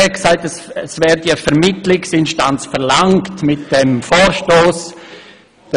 Er sagte, dieser Vorstoss verlange eine Vermittlungsinstanz.